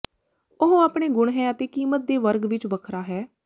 ਉਹ ਆਪਣੇ ਗੁਣ ਹੈ ਅਤੇ ਕੀਮਤ ਦੇ ਵਰਗ ਵਿਚ ਵੱਖਰਾ ਹੈ